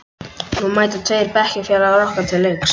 Nú mæta tveir bekkjarfélagar okkar til leiks.